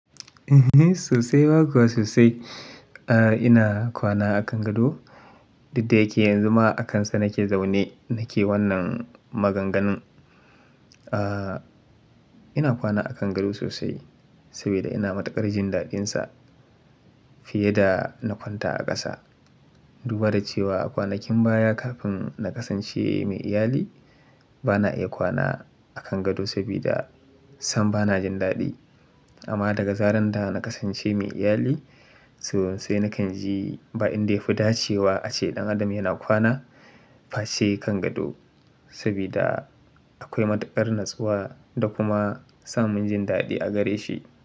Ehh, sosai ba kuwa sosai. Ahh, ina kwana a kan gado. Dik da ya ke yanzu ma a kansa nake zaune nake wannan maganganun. Ahh, ina kwana a kan gado sosai saboda ina matukar jin daɗinsa fiye da na kwanta a ƙasa. Duba da cewa kwanakin baya kafin na kasance mai iyali bana iya kwana a kan gado sabida sam bana jin daɗi. Amma daga zarar da na kasance mai iyali sosai nakan ji ba'inda yafi da cewa ace ɗan adam yana kwana, face kan gado saboda akwai matuƙar natsuwa da kuma samun jin daɗi a gare shi.